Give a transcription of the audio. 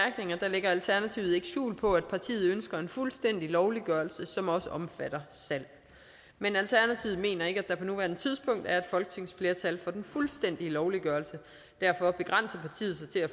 lægger alternativet ikke skjul på at partiet ønsker en fuldstændig lovliggørelse som også omfatter salg men alternativet mener ikke at der på nuværende tidspunkt er et folketingsflertal for den fuldstændige lovliggørelse og derfor begrænser partiet sig til at